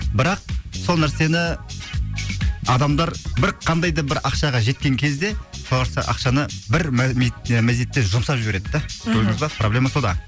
бірақ сол нәрсені адамдар бір қандай да бір ақшаға жеткен кезде сол ақшаны бір мезетте жұмсап жібереді да көрдіңіз ба проблема сонда